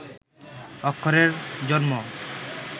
অক্ষরের জন্ম